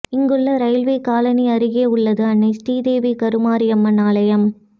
இங்குள்ள railway colony அருகே உள்ளது அன்னை ஸ்ரீதேவி கருமாரியம்மன் ஆலயம்